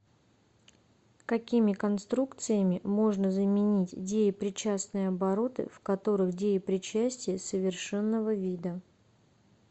какими конструкциями можно заменить деепричастные обороты в которых деепричастие совершенного вида